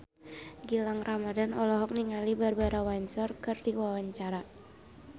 Gilang Ramadan olohok ningali Barbara Windsor keur diwawancara